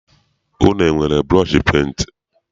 Unu enwere burọshi penti?